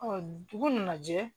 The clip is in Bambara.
dugu nana jɛ